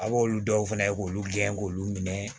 A b'olu dɔw fɛnɛ k'olu gɛn k'olu minɛ